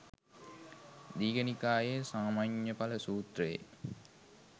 දීඝ නිකායේ සාමඤ්ඤඵල සූත්‍රයේ